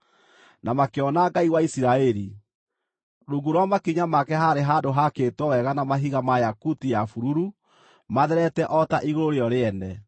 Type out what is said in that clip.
na makĩona Ngai wa Isiraeli. Rungu rwa makinya make haarĩ handũ haakĩtwo wega na mahiga ma yakuti ya bururu, matherete o ta igũrũ rĩo rĩene.